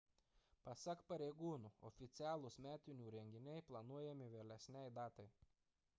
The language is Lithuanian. pasak pareigūnų oficialūs metinių renginiai planuojami vėlesnei datai